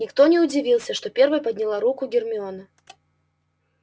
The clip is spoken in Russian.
никто не удивился что первой подняла руку гермиона